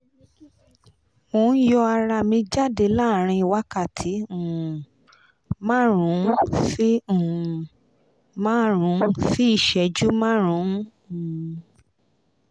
mo ń yọ ara mi jáde láàárín wákàtí um márùn-ún sí um márùn-ún sí ìṣẹ́jú márùn-ún um